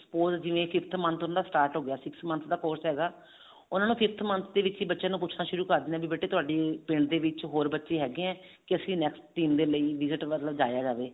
suppose ਜਿਵੇਂ fifth month ਉਹਨਾ ਦਾ start ਹੋਗਿਆ six month ਦਾ course ਹੈਗਾ ਉਹਨਾ ਨੂੰ fifth month ਦੇ ਵਿੱਚ ਬੱਚਿਆਂ ਨੂੰ ਪੁੱਛਣਾ ਸ਼ੁਰੂ ਕਰ ਦਿੰਦੇ ਆ ਵੀ ਬੇਟੇ ਤੁਹਾਡੇ ਪਿੰਡ ਦੇ ਵਿੱਚ ਹੋਰ ਬੱਚੇ ਹੈਗੇ ਆਂ ਤੇ ਅਸੀਂ next team ਦੇ ਲਈ visit ਵੱਲ ਜਾਇਆ ਜਾਵੇ